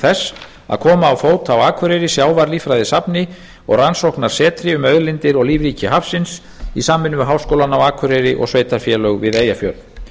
þess að koma á fót á akureyri sjávarlíffræðisafni og rannsóknarsetri um auðlindir og lífríki hafsins í samvinnu við háskólann á akureyri og sveitarfélög við eyjafjörð